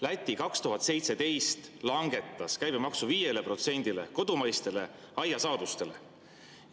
Läti langetas 2017. aastal kodumaiste aiasaaduste käibemaksu 5%‑le.